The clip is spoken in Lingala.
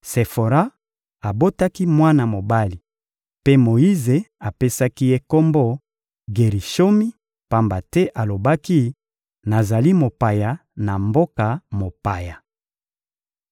Sefora abotaki mwana mobali mpe Moyize apesaki ye kombo «Gerishomi,» pamba te alobaki: «Nazali mopaya na mboka mopaya.»